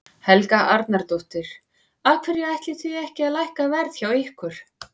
Helga Arnardóttir: Af hverju ætlið þið ekki að lækka verð hjá ykkur?